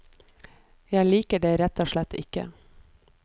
Jeg liker det rett og slett ikke.